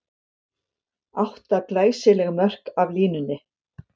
Átta glæsileg mörk af línunni!